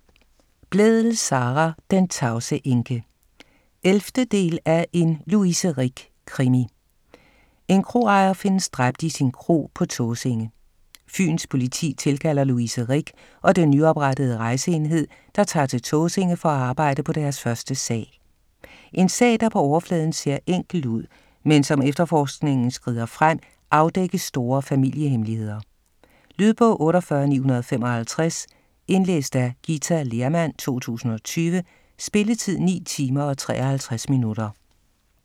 Blædel, Sara: Den tavse enke 11. del af En Louise Rick-krimi. En kroejer findes dræbt i sin kro på Tåsinge. Fyns Politi tilkalder Louise Rick og den nyoprettede rejseenhed, der tager til Tåsinge for at arbejde på deres første sag. En sag, der på overfladen ser enkel ud, men som efterforskningen skrider frem afdækkes store familie-hemmeligheder. Lydbog 48955 Indlæst af Githa Lehrmann, 2020. Spilletid: 9 timer, 53 minutter.